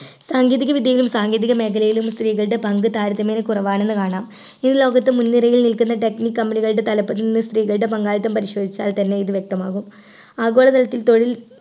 സാങ്കേതികവിദ്യയിലും സാങ്കേതിക മേഖലയിലും ഇന്ന് സ്ത്രീകളുടെ പങ്ക് താരതമ്യേനെ കുറവാണെന്ന് കാണാം ഈ ലോകത്ത് മുൻനിരയിൽ നിൽക്കുന്ന technique company കളുടെ തലപ്പത്തിൽ നിന്ന് സ്ത്രീകളുടെ പങ്കാളിത്തം പരിശോധിച്ചാൽ തന്നെ ഇത് വ്യക്തമാകും ആഗോളതലത്തിൽ തൊഴിൽ